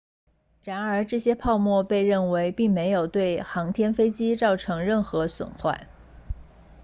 然而这些泡沫被认为并没有对航天飞机造成任何损坏